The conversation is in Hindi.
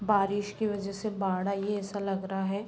बारिश के वजह से बाढ़ आई है ऐसा लग रहा है।